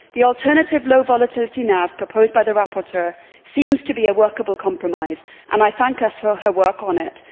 The alternative, low volatility NAV proposed by the rapporteur seems to be a workable compromise, and I thank her for her work on it.